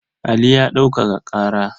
Ali ya ɗaukaka ƙara.